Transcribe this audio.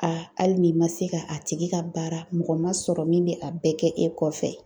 hali n'i ma se ka a tigi ka baara mɔgɔ ma sɔrɔ min be a bɛɛ kɛ e kɔfɛ